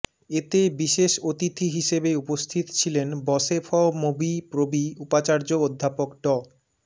এতে বিশেষ অতিথি হিসেবে উপস্থিত ছিলেন বশেফমুবিপ্রবি উপাচার্য অধ্যাপক ড